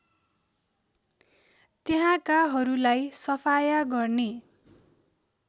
त्यहाँकाहरूलाई सफाया गर्ने